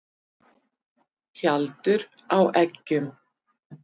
Tjaldur á eggjum.